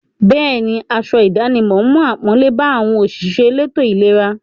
Bẹ́ẹ̀ni, aṣọ ìdánimọ̀ mú àpọ́nlé bá àwọn òṣìṣẹ́ elétò-ìlera.